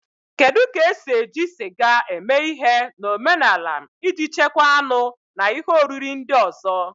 Kedu ka esi eji sịga eme ihe na omenala iji chekwaa anụ na ihe oriri ndị ọzọ?